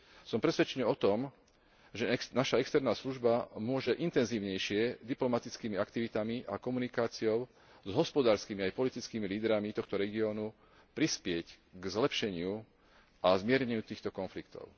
Som presvedčený o tom, že naša externá služba môže intenzívnejšie diplomatickými aktivitami a komunikáciou s hospodárskymi aj politickými lídrami tohto regiónu prispieť k zlepšeniu a zmierneniu týchto konfliktov.